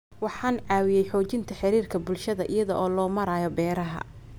Waxay caawiyaan xoojinta xiriirka bulshada iyada oo loo marayo beeraha.